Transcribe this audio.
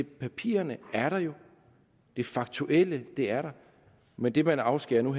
papirerne er der jo det faktuelle er der men det vi afskærer